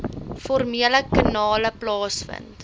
formele kanale plaasvind